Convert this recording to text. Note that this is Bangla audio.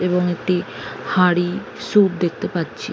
এবং একটি হাড়ি সুপ্ দেখতে পাচ্ছি।